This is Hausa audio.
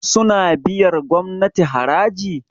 suna biyar gomnati haraji?